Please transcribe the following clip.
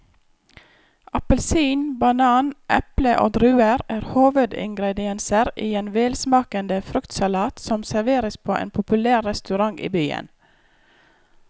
Appelsin, banan, eple og druer er hovedingredienser i en velsmakende fruktsalat som serveres på en populær restaurant i byen.